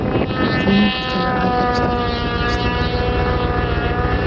Þriðjungur telur aðgerðir stjórnvalda helsta vandamálið